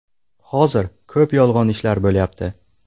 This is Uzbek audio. Hozir ko‘p yolg‘on ishlar bo‘lyapti.